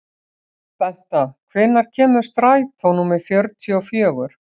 Benta, hvenær kemur strætó númer fjörutíu og fjögur?